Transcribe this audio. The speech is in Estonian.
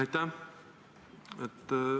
Aitäh!